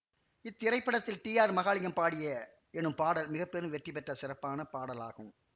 இத்திரைப்படத்தில் T R Mahalingam பாடிய எனும் பாடல் மிக பெரும் வெற்றி பெற்ற சிறப்பான பாடலாகும்